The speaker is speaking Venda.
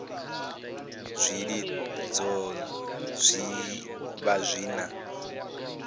zwilidzo zwi vha zwi na